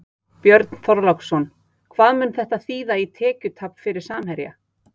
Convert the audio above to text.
Björn Þorláksson: Hvað mun þetta þýða í tekjutap fyrir Samherja?